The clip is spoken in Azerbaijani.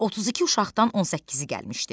Otuz iki uşaqdan on səkkizi gəlmişdi.